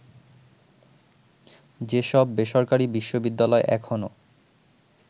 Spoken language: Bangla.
যেসব বেসরকারি বিশ্ববিদ্যালয় এখনো